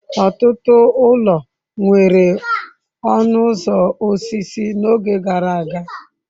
Ọtụtụ ụlọ nwere ọnụ ụzọ osisi n'oge gara aga.